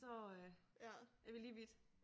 Så øh er vi lige vidt